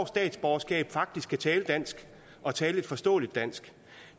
statsborgerskab faktisk kan tale dansk og tale et forståeligt dansk